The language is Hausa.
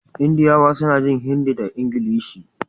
Indiyawa suna jin Hindi da Ingilishi